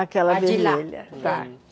Aquela vermelha.